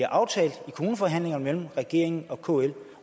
aftalt i kommuneforhandlinger mellem regeringen og kl